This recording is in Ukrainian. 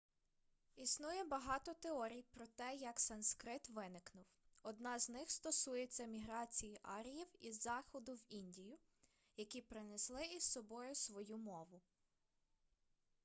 існує багато теорій про те як санскрит виникнув одна з них стосується міграції аріїв із заходу в індію які принесли із собою свою мову